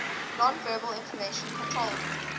nonverbal information controlled